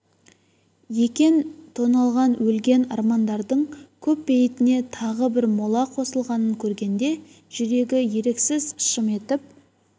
екен тоналған өлген армандардың көп бейітіне тағы бір мола қосылғанын көргенде жүрегі еріксіз шым етіп